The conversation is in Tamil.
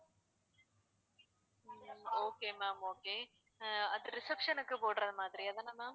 okay ma'am okay ah reception க்கு போடுற மாதிரியா அதான ma'am